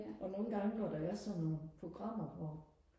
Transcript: og nogle gange når der er sådan nogle programmer hvor